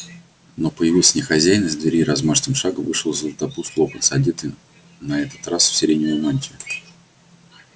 но появился не хозяин из дверей размашистым шагом вышел златопуст локонс одетый на этот раз в сиреневую мантию